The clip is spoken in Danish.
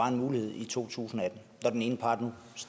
en mulighed i to tusind og atten når den ene part nu